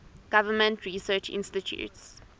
government research institutes